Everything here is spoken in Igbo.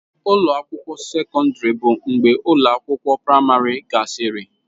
Ụlọ akwụkwọ sekọndrị bụ mgbe ụlọ akwụkwọ praịmarị gasịrị.